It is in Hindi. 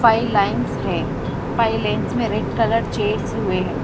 फाइव लाइंस है फाइव लेंस में रेड कलर चेयर्स हुए हैं।